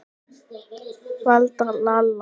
Valda, Lalla.